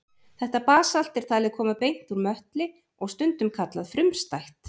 Þetta basalt er talið koma beint úr möttli og stundum kallað frumstætt.